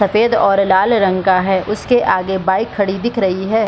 सफ़ेद और लाल रंग का है उसके आगे बाइक खड़ी दिख रही है।